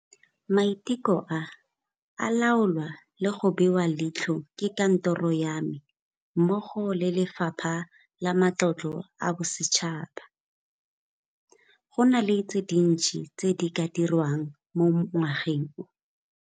Maiteko a, a laolwa le go bewa leitlho ke Kantoro ya me mmogo le Lefapha la Matlotlo a Bosetšhaba. Go na le tse dintsi tse di ka dirwang mo ngwageng o.